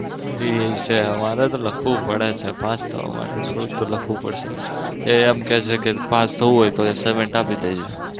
અમારે તો લખવું પડે છે પાસ થવા માટે થોડું તો લખવું પડશે ને એ એવું કે છે પાસ થવું હોય તો assignment આપી દેજે.